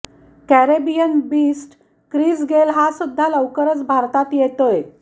Caribbean beast Chris Gayle हा सुद्धा लवकरच भारतात येतोय